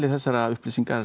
þessara upplýsinga